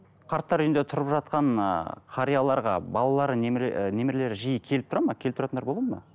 қарттар үйінде тұрып жатқан ыыы қарияларға балалары ы немерелері жиі келіп тұрады ма келіп тұратындар болады ма